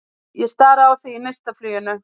Ég stari á þig í neistafluginu.